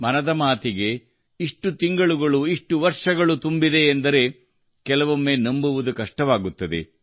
ಮನದ ಮಾತುಗೆ ಇಷ್ಟು ತಿಂಗಳುಗಳು ಇಷ್ಟು ವರ್ಷಗಳು ತುಂಬಿದೆ ಎಂದರೆ ಕೆಲವೊಮ್ಮೆ ನಂಬುವುದು ಕಷ್ಟವಾಗುತ್ತದೆ